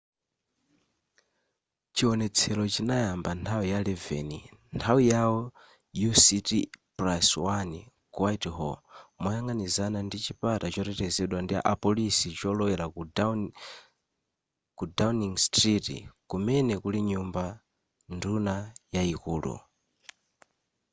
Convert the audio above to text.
chionetsero chinayamba nthawi ya 11 nthawi yao uct+1 ku whitehall moyang'anizana ndi chipata chotetezedwa ndi apoliso cholowela ku downing street kumene kuli nyumba nduna yaikulu